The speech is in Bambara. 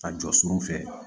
Ka jɔ surun fɛ